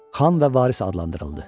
Xan və varis adlandırıldı.